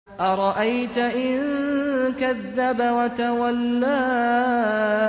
أَرَأَيْتَ إِن كَذَّبَ وَتَوَلَّىٰ